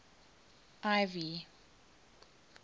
ivy